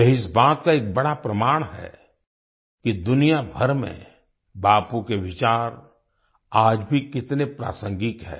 यह इस बात का एक बड़ा प्रमाण है कि दुनियाभर में बापू के विचार आज भी कितने प्रासांगिक है